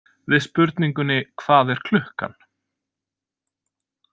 Við spurningunni Hvað er klukkan?